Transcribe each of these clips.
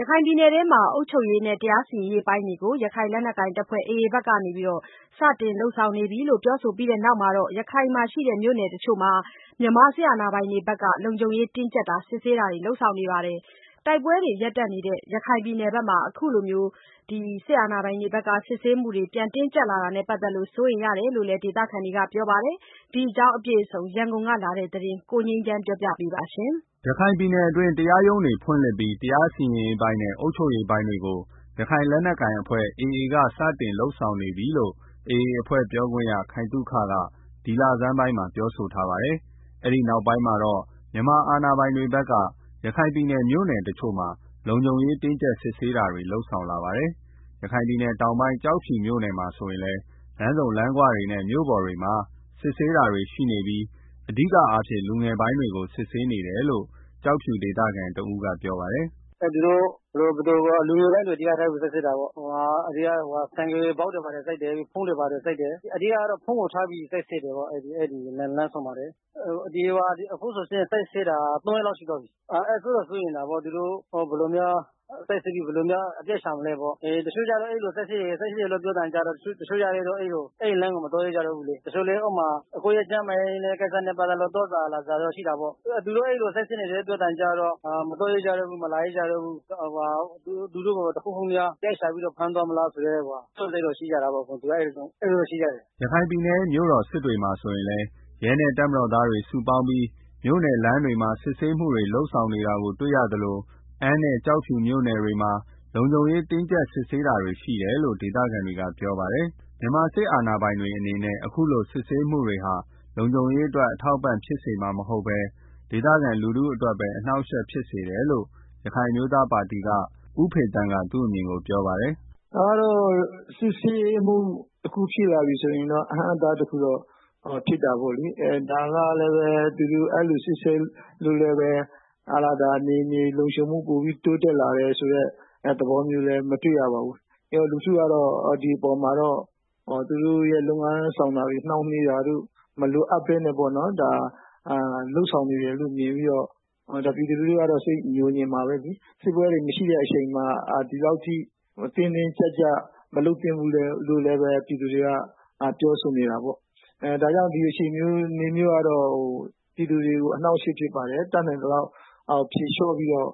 ရခိုင်ပြည်နယ်မှာ အုပ်ချုပ်ရေးနဲ့ တရားစီရင်ရေးပိုင်းတွေကို ရခိုင်လက်နက်ကိုင် AAအဖွဲ့ ဖက်စတင်လုပ်ဆောင်နေပြီလို့ ပြောဆိုပြီးနောက် ရခိုင်ကမြို့နယ်တစ်ချို့မှာ မြန်မာစစ်အာဏာပိုင်တွေဖက်က လုံခြုံတင်းကြပ် စစ်ဆေးတာတွေ လုပ်ဆောင်နေပါတယ်။ တိုက်ပွဲတွေ ရပ်တန့်ထားတဲ့ ရခိုင်ပြည်နယ်မှာ အခုလို စစ်ဆေးမှုတွေ တင်းကြပ်လာတာနဲ့ ပတ်သတ်ပြီး စိုးနေရတယ်လို့လည်း ဒေသခံတွေက ပြောဆိုကြပါတယ်။ ဒီကြောင်းအပြည့်အစုံ ရန်ကုန်က လာတဲ့ သတင်းကို ကိုငြိမ်းချမ်းပြောပြပါမယ်။ ရခိုင်ပြည်နယ်အတွင်း တရားရုံးတွေ ဖွင့်လှစ်ပြီး တရားစီရင်ရေးပိုင်းနဲ့ အုပ်ချုပ်ရေး ပိုင်းတွေကို ရခိုင် လက်နက်ကိုင် AAအဖွဲ့ဖက်က စတင်ပြီး လုပ်ဆောင်နေပြီလို့ AA အဖွဲ့ ပြောခွင့်ရ ခိုင်သုခ ဒီလဆန်းပိုင်းကပြောဆိုထားပါတယ်။ အဲဒီနောက်ပိုင်းမှာတော့ မြန်မာအာဏာ ပိုင်တွေက ရခိုင်ပြည်နယ်က မြို့နယ် တစ်ချို့မှာ လုံခြုံရေး တင်းကြပ်စစ်ဆေးတာတွေ လုပ်ဆောင်လာတာပါ။ ရခိုင်ပြည်နယ်တောင်ပိုင်းက ကျောက်ဖြူမြို့နယ်မှာ ဆိုရင်လည်း လမ်းဆုံလမ်းခွတွေနဲ့ မြို့ပေါ်တွေမှာ စစ်ဆေးနေတာတွေရှိနေပြီး အဓိကအားဖြင့် လူငယ်ပိုင်းတွေကို စစ်ဆေး နေတာများတယ်လို့ ကျောက်ဖြူ ဒေသခံတစ်ဦးကပြောပါတယ်။ “ လူငယ်ပိုင်းတွေကို စစ်တာများတယ်။ ဆိုင်ကယ်ဘောက်တွေ ဖုန်းတွေ ဘာတွေ စစ်တယ်။ အဓိကတော့ ဖုန်းကို စစ်ဆေးတာ များတယ်။ လမ်းဆုံတွေမှာ။ အခုဆိုရင် စစ်ဆေးနေတာ သုံးရက်လောက်ရှိသွားပြီ။ စိုးရိမ်တာပေါ့ သူတို့ ဘယ်လို စစ်ဆေးပြီး အပြစ်ရှာမလည်း တစ်ချို့ကျတော့လည်း စစ်ဆေးတယ်လို့ ပြောတာနဲ့ အဲဒီလမ်းကို မသွားရဲကျတော့ဘူး။ ကျန်းမာကိစ္စတွေနဲ့ သွားစရာလာစရာရှိရင်လည်း သူတို့ အဲလို စစ်ဆေးနေတယ်လို့ ပြောသံကြားတာနဲ့ မသွားရကြတော့ဘူး။ သူတို့ကို တစ်ခုခုများ အပြစ်ရှာပြီးတော့ ဖမ်းသွားမလား ဆိုပြီး စိုးရိမ်ကြတာပေါ့။” ရခိုင်ပြည်နယ်ရဲ့ မြို့တော် စစ်တွေမှာ ဆိုရင်လည်း ရဲနဲ့ စစ်သားတွေ စုပေါင်းပြီး မြို့နယ် လမ်းတွေမှာ စစ်ဆေးမှုတွေ လုပ်ဆောင်နေတာကို တွေ့ရသလို အမ်းနဲ့ ကျောက်ဖြူမြို့နယ်တွေမှာလည်း လုံခြုံရေး တင်းကြပ်စစ်ဆေးနေတာတွေ ရှိတယ်လို့ ဒေသခံတွေက ပြောပါတယ်။ မြန်မာစစ်အာဏာပိုင်တွေအနေနဲ့ အခုလို စစ်ဆေးမှုတွေဟာ လုံခြုရေးအတွက်အထောက်အပံ့ဖြစ်မှာမဟုတ်ပဲ၊ ဒေသခံလူထုအတွက်ပဲ အနှောက်အယှက်ဖြစ်စေတယ်လို့ ရခိုင်အမျိုးသားပါတီက ဦးဖေသန်းက သူ့အမြင်ပြောပါတယ် ။ “စစ်ဆေးမှုတခု ဖြစ်လာပြီဆိုတော့ အဟန့်အတား တခုဖြစ်တာပေါ့လေ ဒါကလည်း သူတို့ အဲလို စစ်ဆေးလို့လည်းပဲ ဒေသလုံခြုံရေး ပိုပြီးတော့ တိုးတက်လာတာမရှိဘူး။ လူထုကတော့ ဒီမပေါ်မှာ သူတို့ရဲ့ လုပ်ငန်းဆောင်တာတွေ နှောင့်နှေးတာတို့ မလိုအပ်ပဲ လုပ်ဆောင်နေ တာလို့မြင်ပြီးတော့ ပြည်သူတွေကတော့ စိတ်ညိုငြင်မှာပဲလေ။ တိုက်ပွဲတွေ ရပ်တန့်ထားတဲ့ အချိန်မှာ အခုလို မလုပ်သင့်ဘူးလို့လည်း ပြည်သူတွေ ပြောဆိုနေကြတယ်။ ဒီဟာ ပြည်သူ တွေကို အနှောင့်အယှက်ဖြစ်ပါတယ်။ ဒါကြောင့် ဒီဟာတွေကို ဖြေလျော့ပြီး တော့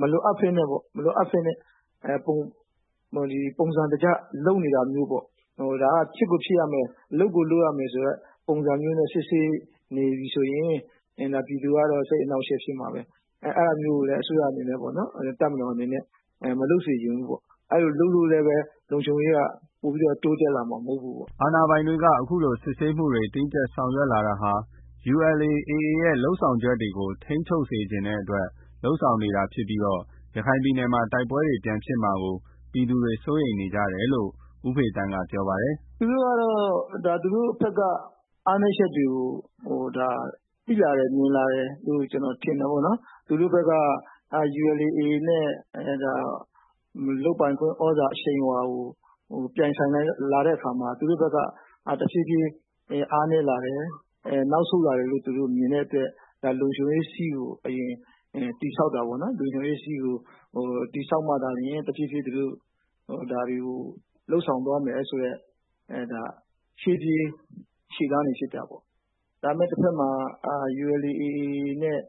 မလိုအပ်ပဲနဲ့ ပုံစံတကျ လုပ်နေတာမျိုး ဒါက ဖြစ်ကိုဖြစ်ရမယ် လုပ်ကိုလုပ်ရ မယ်ဆိုတဲ့ ပုံစံမျိုးနဲ့ စစ်ဆေး နေပြီးဆိုရင် ဒါပြည်သူက စိတ်အနှာင့် အယှက်ဖြစ်စေမှာပဲ။ အဲတာမျိုးကို တပ်မတော်အနေနဲ့ မလုပ်စေချင်ဘူး။ အဲလိုလုပ်လို့လည်း လုံခြုံရေးက ပိုပြီးတော့ တိုးတက်လာမှာ မဟုတ်ဘူးပေါ့။” အာဏာပိုင်တွေက အခုလို စစ်ဆေးမှုတွေ တင်းကြပ်ဆောင်ရွက်လာတာဟာ ULA/AAရဲ့ လုပ်ဆောင်ချက်တွေကို ထိန်းချုပ်စေချင်တဲ့အတွက် လုပ်ဆောင်နေတာဖြစ်ပြီး ရခိုင်ပြည်နယ်မှာ တိုက်ပွဲတွေ ပြန်ဖြစ်မှာကို ပြည်သူတွေက စိုးရိမ်နေကြတယ်လို့လည်း ဦးဖေသန်းက ပြောပါတယ်။ “သူတို့ကတော့ သူတို့ဖက်က အားနည်းချက်တွေကို သိလာတယ် မြင်လာတယ်လို့ ကျနော် ထင်တယ်ပေါ့နော်။ သူတို့ဖက်က ULA/AAနဲ့ လုပ်ပိုင်ခွင့် သြဇာအရှိန်အဝါကို ပြိုင် ဆိုင် လာတဲ့ အခါမှာ သူတို့ဖက်က တစ်ဖြည်းဖြည်း အားနည်းလာတယ်။ နောက် ဆုတ်လာတယ်လို့ သူတို့မြင်တဲ့အတွက် ဒါလုံခြုံရေး စည်းကို အရင်တည်ဆောက်တာပေါ့နော်။ လုံခြုံရေး စည်းကို တည်ပြီးမှ ကျန်တာကို တစ်ဖြေးဖြေးလုပ်ဆောင်သွားမယ်ဆိုတဲ့ ရှေ့ပြေးလုပ်တာဖြစ်တယ်။ တစ်ဖက်မှာလည်း ULA/ AA နဲ့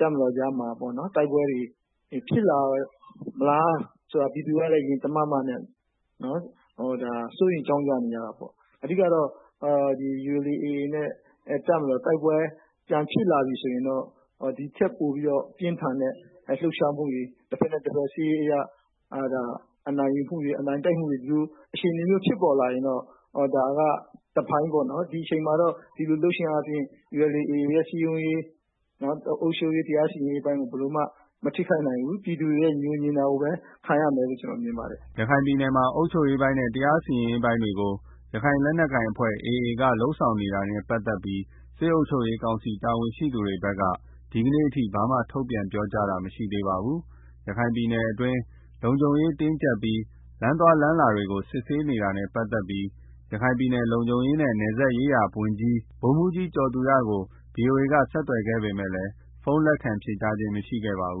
တပ်မတော်ကြားမှာ တိုက်ပွဲတွေ ဖြစ်လာမလားဆိုတာလည်း ပြည်သူတွေက ရင်တမတ်မတ်နဲ့ စိုးရိမ်နေကြတာပေါ့။ အဓိကတော့ တပ်မတော်နဲ့ AA တိုက်ပွဲ တွေ ပြန်ဖြစ်လာပြီဆိုရင်တော့ ဒီထက်ပိုပြီးတော့ ပြင်းထန်တဲ့ လှုပ်ရှားမှုတွေ တစ်ဖက်နဲ့ တစ်ဖက် စစ်ရေး အရ အနိုင်ယူမှုတွေ ဒီလိုအခြေအနေမျိုးဖြစ်ပေါ်လာနိုင်တာကတော့ တစ်ပိုင်း ပေါ့နော်။ ဒီအချိန်မှာ ဒီလိုလုပ်တာက ULA/AAရဲ့ စည်းရုံးရေးတွေ အုပ်ချုပ်ရေး တရား စီရင်ရေး ပိုင်းကို ဘယ်လိုမှ မထိခိုက်နိုင်ဘူး ပြည်သူတွေရဲ့ ညိုငြင်တာကိုပဲ ခံရနိုင်တယ်လို့ ကျနော်မြင်ပါတယ်။” ရခိုင်ပြည်နယ်မှာ အုပ်ချုပ်ရေးပိုင်းနဲ့ တရားစီရင်ရေး ပိုင်းတွေကို ရခိုင်လက်နက်ကိုင်AAအဖွဲ့က လုပ်ဆောင်နေတာနဲ့ ပတ်သက်ပြီးတော့ စစ်အုပ်ချုပ်ရေးကောင်စီတာဝန်ရှိသူတွေဖက်က ဒီကနေ့အထိ ဘာမှ ထုတ်ပြန်ပြောဆိုထားတာမရှိသေးပါဘူး။ ရခိုင်ပြည် တွင်း လုံခြုံရေးတင်းကြပ်ပြီး လမ်းသွားလမ်းလာလူတွေကို စစ်ဆေးနေတာနဲ့ ပတ်သက်ပြီး ရခိုင်ပြည်နယ် လုံခြုံရေးနဲ့ နယ်စပ်ရေးရာဝန်ကြီး ဗိုလ်မှူးကြီး ကျော်သူရကို ဗွီအိုအေက ဆက်သွယ်ခဲ့ပေမယ့် ဖုန်းလက်ခံ ဖြေဆိုခဲ့ခြင်းမရှိပါဘူး